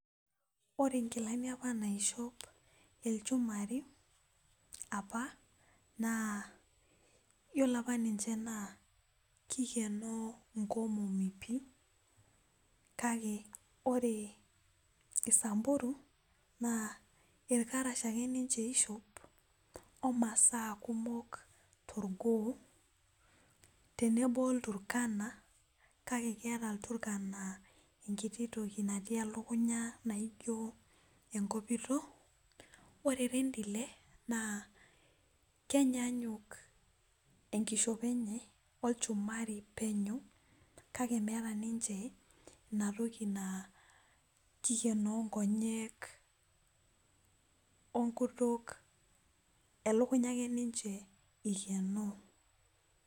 ore inkilanni apa naishop ilchumari apa naa iyiolo apa ninche naa kikenoo inkomomi pii kake ore isamburu naa irkarash ake ninche ishop , omasaa kumok torgoo , tenebo olturkana kake keeta iturkana enkititoki na tii elukunya naijio enkopito, ore irendile kenyanyuk enkishopo ennye olchumari penyo kake meeta ninche kake meeta niche inatoki naa kikenoo inkonyek wenkutuk elikunya ake niche eikenoo.